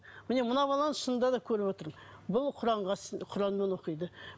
міне мына баланы шынында да көріп отырмын бұл құранға құранмен оқиды